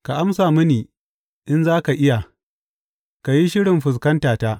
Ka amsa mini in za ka iya; ka yi shirin fuskanta ta.